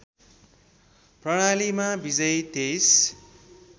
प्रणालीमा विजयी २३